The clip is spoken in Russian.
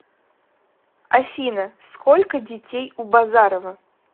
афина сколько детей у базарова